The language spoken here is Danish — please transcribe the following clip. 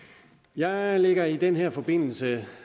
jeg lægger i den her forbindelse